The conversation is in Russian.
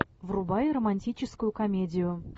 врубай романтическую комедию